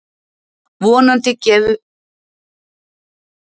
Vonandi gefum við gert það og náð réttu úrslitunum líka.